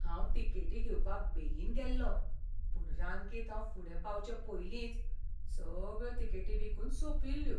हांव तिकेटी घेवपाक बेगीन गेल्लों, पूण रांकेंत हांव फुडें पावचे पयलींच सगळ्यो तिकेटी विकून सोंपिल्ल्यो.